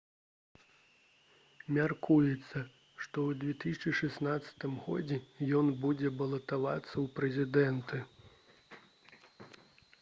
мяркуецца што ў 2016 годзе ён будзе балатавацца ў прэзідэнты